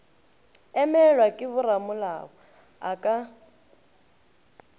emelwa ke boramolao a ka